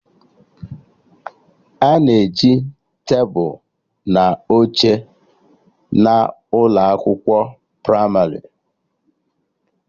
Ana e ji tebụl na oche na ụlọ akwụkwọ pramarị